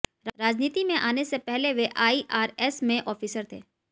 राजनीति में आने से पहले वे आईआरएस में ऑफिसर थे